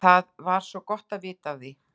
Það var gott vita af því.